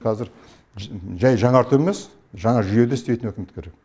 қазір жай жаңарту емес жаңа жүйеде істейтін үкімет керек